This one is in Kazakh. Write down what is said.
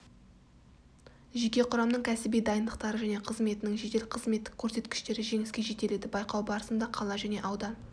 жеке құрамның кәсіби дайындықтары және қызметінің жедел-қызметтік көрсеткіштері жеңіске жетеледі байқау барысында қала және аудан